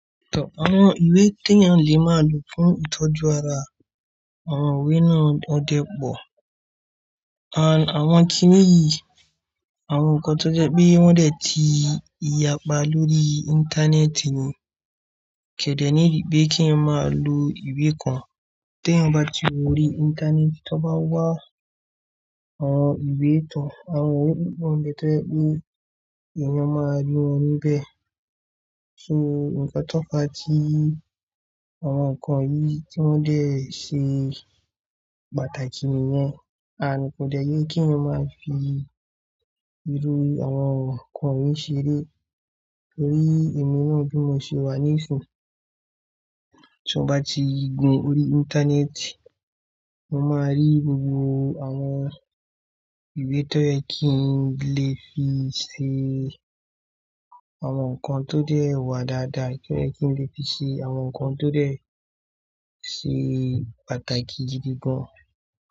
Àwọn ìwé tí èèyàn le máa lò fún ìtọ́jú ara, àwọn ìwé náà ò dẹ́ pọ̀. Àwọn kí ni yìí, àwọn nǹkan tó jẹ́ pé wọ́n dẹ̀ ti yapa lórí Íńtánẹ́ẹ̀tì ni. Kẹ̀dẹ́ ní bí kí n máa lo ìwé kan. Tè èyàn bá ti wò ó órí Íńtánẹ́ẹ̀tì, tó bá wá àwọn ìwé ìtàn, àwọn ìwé mìí wà ń bèé tó je pé èèyàn máa rí wọn níbẹ̀. So nǹkan tópa ti àwọn nǹkan yìí tí wọ́n dẹ̀ ṣe pàtàkì nìyẹn. And kò dẹ́ ye kí èèyàn máa fi irú àwọn nǹkan yìí ṣeré torí èmi náà bí mọ se wa ní ìsìn. Tí ó bá ti gbin orí Íńtánẹ́ẹ̀tì, mo máa rí gbogbo àwọn ìwé tó yẹ́ kí n lè fi ṣe àwọn nǹkan tó dẹ́ wá dáadáa, tó yẹ́ kí n lè fi ṣe àwọn nǹkan tó dẹ́ ṣe pàtàkì gidi gan.